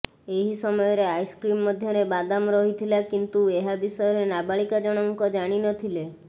ଏହି ସମୟରେ ଆଇସ୍କ୍ରିମ୍ ମଧ୍ୟରେ ବାଦାମ ରହିଥିଲା କିନ୍ତୁ ଏହା ବିଷୟରେ ନାବାଳିକା ଜଣଙ୍କ ଜାଣିନଥିଲେ